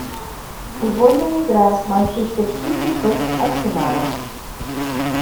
футбольная игра манчестер сити против арсенала